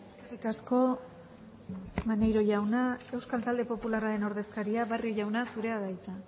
eskerrik asko maneiro jauna euskal talde popularraren ordezkaria barrio jauna zurea da hitza